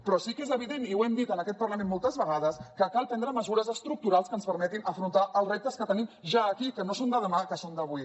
però sí que és evident i ho hem dit en aquest parlament moltes vegades que cal prendre mesures estructurals que ens permetin afrontar els reptes que tenim ja aquí que no són de demà que són d’avui